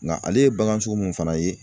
Nka ale ye bagan sugu mun fana ye